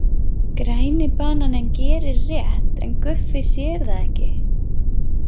Græni bananinn gerir rétt, en Guffi sér það ekki.